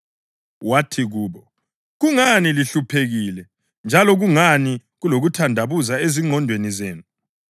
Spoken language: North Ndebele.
Wathi kubo, “Kungani lihluphekile, njalo kungani kulokuthandabuza ezingqondweni zenu?